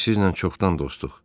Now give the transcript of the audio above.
Biz sizinlə çoxdan dostuq.